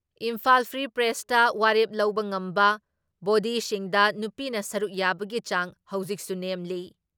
Imphal free ꯄ꯭ꯔꯦꯁꯇ ꯋꯥꯔꯦꯞ ꯂꯧꯕ ꯉꯝꯕ ꯕꯣꯗꯤꯁꯤꯡꯗ ꯅꯨꯄꯤꯅ ꯁꯔꯨꯛ ꯌꯥꯕꯒꯤ ꯆꯥꯡ ꯍꯧꯖꯤꯛꯁꯨ ꯅꯦꯝꯂꯤ ꯫